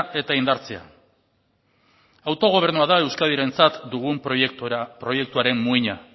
eta indartzea autogobernua da euskadirentzat dugun proiektuaren muina